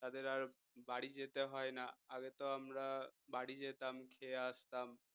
তাদের আর বাড়ি যেতে হয় না আগে তো আমরা বাড়ি যেতাম খেয়ে আসতাম